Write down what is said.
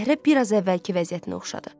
Dəhrə biraz əvvəlki vəziyyətinə oxşadı.